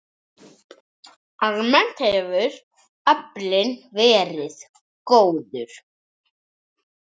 Almennt hefur aflinn verið góður.